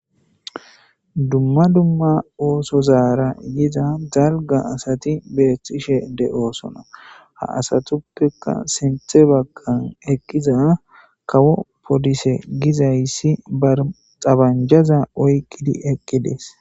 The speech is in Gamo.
Dumma dumma ooso zaara yiza dalga asati beethxishe de7oosona ha asatuppeka sinthe baggan ekkiza kawo polise gizayssi barxabanjaza oyqqidi eqqides.